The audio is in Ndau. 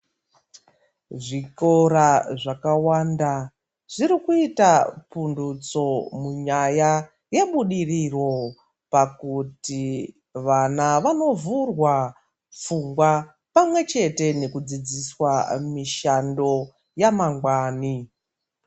Zvikora zvakawanda zviri kuita pundutso panyaya yebudiriro pakuti vana vanovhurwa pfungwa, pamwe chete nekudzidziswa mishando yamangwani.